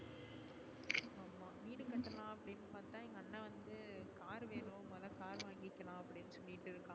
வீடு கட்டுலான் அப்டினு பாத்தா எங்க அண்ணா வந்து car வேணும் முதல car வாங்கிக்கலாம் அப்டினு சொல்லிட்டு இருக்கு